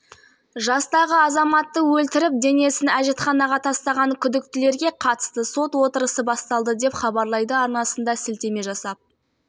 екі азамат мәйіттен құтылу үшін оны өртемек болған алайда олар дененің толық жанып кетпейтіндігіне көз жеткізген